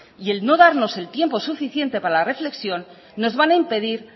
y el no darnos el tiempo suficiente para la reflexión nos van a impedir